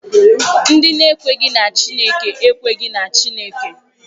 Ndị na-ekweghị na Chineke ekweghị na Chineke.